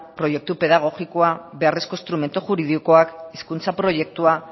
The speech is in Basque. proiektu pedagogikoa beharrezko instrumentu juridikoak hizkuntza proiektua